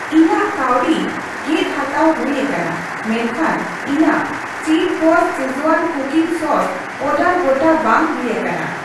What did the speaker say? ᱤᱧᱟᱹᱜ ᱠᱟᱹᱣᱰᱤ ᱜᱮᱫ ᱦᱟᱛᱟᱣ ᱦᱩᱭ ᱟᱠᱟᱱᱟ ᱢᱮᱱᱠᱷᱟᱱ ᱤᱧᱟᱹᱜ ᱪᱤᱯᱵᱚᱥ ᱥᱤᱡᱣᱟᱱ ᱠᱩᱠᱤᱝ ᱥᱟᱣᱥᱤ ᱚᱰᱟᱨ ᱜᱚᱴᱟ ᱵᱟᱝ ᱦᱩᱭ ᱟᱠᱟᱱᱟ ᱾